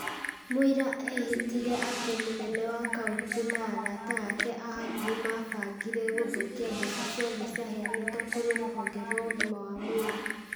Mũira ĩhĩtire atĩ mũnene wa kauntĩ na arata aake a hakũhĩ mabangire gũthũkia mbeca ciothe ciaheanĩtwo kũrĩ rũhonge rwa ũgima wa mwĩrĩ.